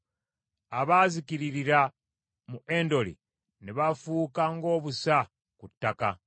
abaazikiririra mu Endoli ne bafuuka ng’obusa ku ttaka.